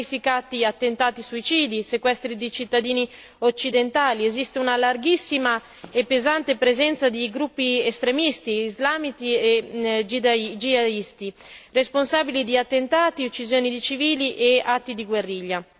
Si sono verificati attentati suicidi, sequestri di cittadini occidentali, esiste una larghissima e pesante presenza di gruppi estremisti islamici e jihadisti, responsabili di attentati, uccisioni di civili e atti di guerriglia.